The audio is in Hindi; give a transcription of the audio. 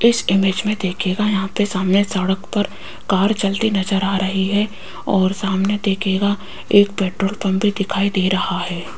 इस इमेज में देखिएगा यहां पे सामने सड़क पर कार चलती नजर आ रही है और सामने देखिएगा एक पेट्रोल पंप भी दिखाई दे रहा है।